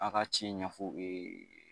A ka ci ɲɛfɔ u ye